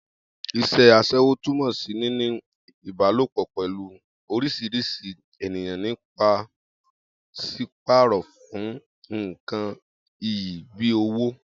Is̩é̩ as̩é̩wó túmò̩ sí níní ìbálòpò pè̩lú orís̩irís̩i ènìyàn ní pàs̩ípàrò̩ fún nǹkan iyì bíi owó